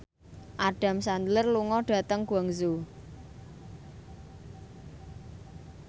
Adam Sandler lunga dhateng Guangzhou